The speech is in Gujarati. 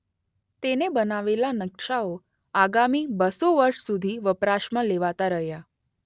તેને બનાવેલા નકશાઓ આગામી બસ્સો વર્ષ સુધી વપરાશમાં લેવાતા રહ્યા.